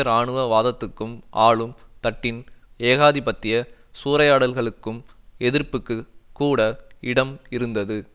இராணுவ வாதத்துக்கும் ஆளும் தட்டின் ஏகாதிபத்திய சூறையாடல்களுக்கும் எதிர்ப்புக்குக் கூட இடம் இருந்தது